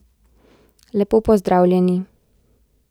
Lepo pozdravljeni!